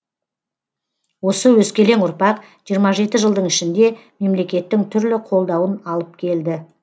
осы өскелең ұрпақ жиырма жеті жылдың ішінде мемлекеттің түрлі қолдауын алып келді